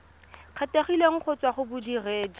kgethegileng go tswa go bodiredi